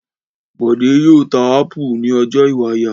Bọ̀dé yóò ta ápù ní ọjà Ìwàyà.